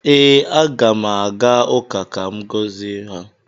Ee, Aga m aga ụka ka m gọzie ha